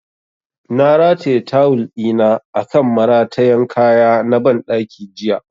Na rataya tawul ɗina akan maratayan kaya na ban ɗaki jiya